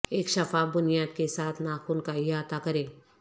ایک شفاف بنیاد کے ساتھ ناخن کا احاطہ کریں